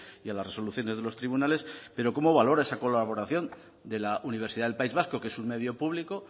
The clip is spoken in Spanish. y a las resoluciones de los tribunales pero cómo valora esa colaboración de la universidad del país vasco que es un medio público